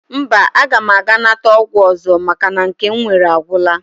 Mba, aga m aga nata ọgwụ ọzọ maka na nke m nwere agwụla